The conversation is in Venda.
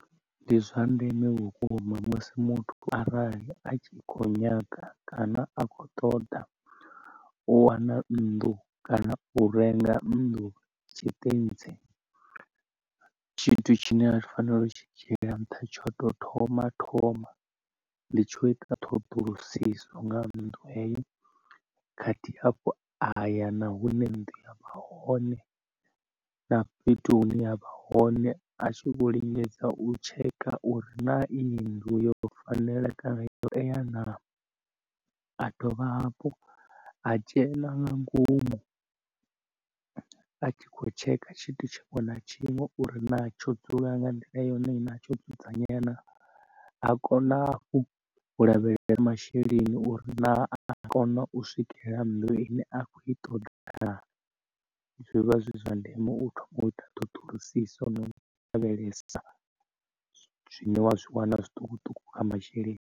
Ndi zwa ndeme vhukuma musi muthu arali a tshi kho nyaga kana a kho ṱoḓa u wana nnḓu kana u renga nnḓu tshiṱentsi, tshithu tshine a tshi fanela u tshi dzhiela nṱha tsho to thoma thoma ndi tsho ita ṱhoḓulusiso nga nnḓu heyo khathihi afho aya na hune nnḓu ya vha hone na fhethu hune ya vha hone a tshi vho lingedza u tsheka uri na iyi nnḓu yo fanela kana zwo tea na. A dovha hafhu a dzhena nga ngomu a tshi khou tshekha tshithu tshiṅwe na tshiṅwe uri na tsho dzula nga nḓila yone i na tsho dzudzanyea na a kona hafhu u lavhelesa uri masheleni uri na anga kona u swikela nnḓu ine a kho i ṱoḓa na, zwivha zwi zwa ndeme u ita ṱhoḓulusiso no lavhelesa zwine wa zwi wana zwiṱukuṱuku nga masheleni.